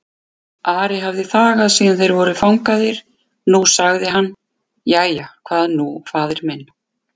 Ari hafði þagað síðan þeir voru fangaðir, nú sagði hann:-Jæja, hvað nú faðir minn?